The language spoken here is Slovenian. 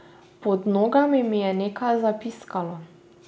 Pod nogami mi je nekaj zapiskalo.